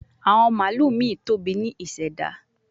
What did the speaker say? Awon malu mi tobi ni iseda